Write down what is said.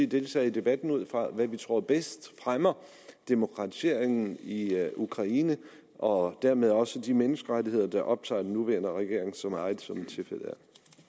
deltage i debatten ud fra hvad vi tror bedst fremmer demokratiseringen i i ukraine og dermed også de menneskerettigheder der optager den nuværende regering så meget som tilfældet